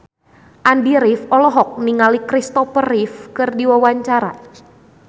Andy rif olohok ningali Kristopher Reeve keur diwawancara